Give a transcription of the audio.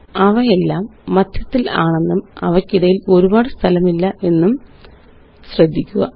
അവയെല്ലാം മദ്ധ്യത്തിലാണെന്നും അവയ്ക്കിടയില് ഔപാട് സ്ഥലമില്ല എന്നും ശ്രദ്ധിക്കുക